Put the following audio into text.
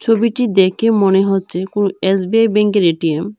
ছবিটি দেখে মনে হচ্ছে কোনো এস_বি_আই ব্যাঙ্কের এ_টি_এম ।